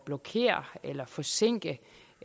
blokere eller forsinke